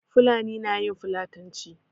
Fulani na yin fulatanci.